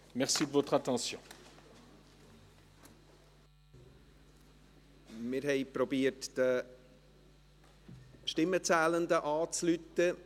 Wir haben versucht, die Stimmenzählenden telefonisch zu erreichen.